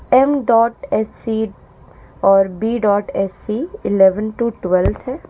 M dot S C और B dot S C eleven to twelfth है।